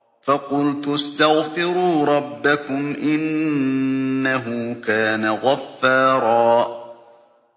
فَقُلْتُ اسْتَغْفِرُوا رَبَّكُمْ إِنَّهُ كَانَ غَفَّارًا